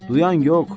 Duyan yox.